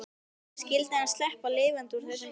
Skyldi hann sleppa lifandi úr þessari eldraun?